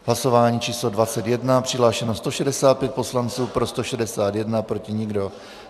Hlasování číslo 21, přihlášeno 165 poslanců, pro 161, proti nikdo.